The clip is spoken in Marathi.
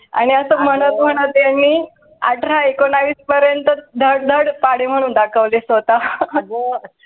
आणि असं म्हणत म्हणत त्यांनी अठरा एकोणावीस पर्यंत धड धड पडे म्हणून दाखवले स्वत